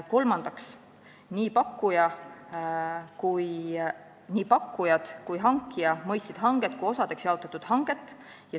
Kolmandaks, nii pakkujad kui hankija mõistsid seda hanget kui osadeks jaotatud hanget.